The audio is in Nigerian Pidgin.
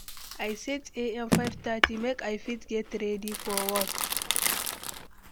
i set am 5:30 make i fit get ready for work.